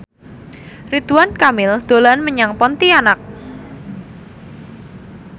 Ridwan Kamil dolan menyang Pontianak